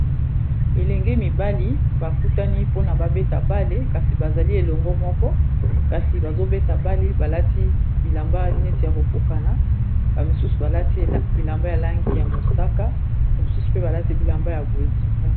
Elenge mibali bakutani mpona babeta bale kasi bazali elongo moko kasi bazobeta bale balati bilamba neti ya kokokana slabilamba ya langi ya mosaka bamisusu pe balati bilamba ya bozika